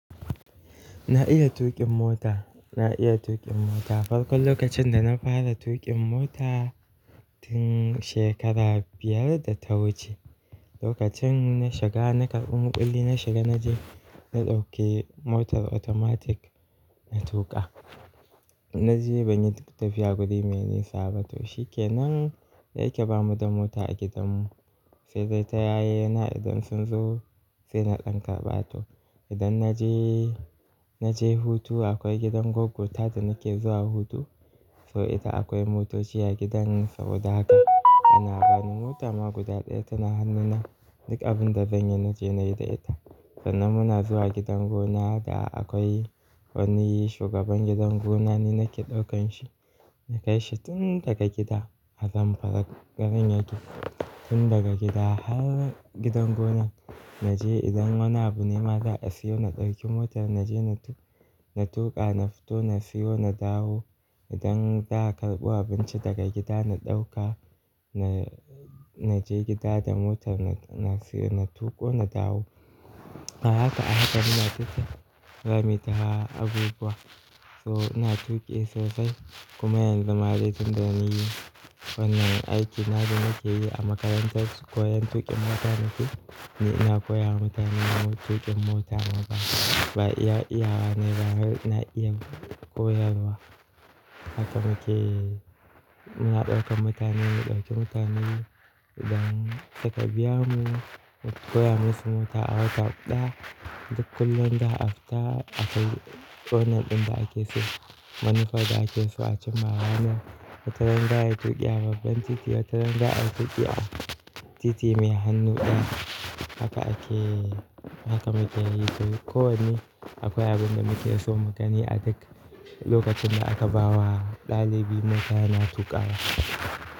Na iya tuƙin mota, na iya tuƙin mota. Farkon lokacin da na fara tuƙin mota tin shekara biyar da ta wuce. Lokacin na shiga na karɓa muƙulli na shiga na je na ɗauke motar automatic na tuƙa. Na je ban yi tafiya guri me ni sa bato. Shi ke nan da ya yake bamu da mota a gidan mu sai dai ta yaye na idan sun zo sai na ɗan karba to. Idan na je, na je hutu akwai gidan goggo ta da nake zuwa hutu, so ita akwai motoci a gidan sa odaka. Ana bani mota ma guda ɗaya tana hannuna duk abun da zan yi na je na yi da ita. Sannan muna zuwa gidan gona da akwai wani shugaban gidan gona ni nake ɗaukan shi, na kai shi tun daga gida a Zamfara garin yake. Tun daga gida har gidan gonan na je idan wani abu ne ma za a siyo na ɗauki motar na je na tuƙa, na fito na siyo na dawo. Idan za a karɓo abinci daga gida na ɗauka, na je gida da motar na siyo na tuƙo na dawo. Ahaka, ahaka ina tuki zanyi ta abubuwa so ina tuƙi sosai kuma yanzu ma aiki tun da na yi wannan aiki na da nake yi a makarantar koyon tuƙin mota nake. Ni ina koyar wa mutane tuƙin mota ma ba, ba iya iyawa ne ba har na iya koyarwa. Haka muke muna ɗaukan mutane mu ɗauki mutane idan suka biya mu mu koya musu mota a wata ɗaya duk kullum da afita akwai corner ɗin da ake so. Wani corner da ake so a cimawa ne. Wata rana ya tuƙi a babban titi, wata ran za a yi tuƙi a titi mai hannu ɗaya. Haka ake, haka muke yi duk ko wanne akwai abin da muke so mu gani a duk lokacin da aka ba wa ɗalibi mota yana tuƙawa.